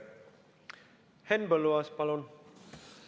Henn Põlluaas, palun!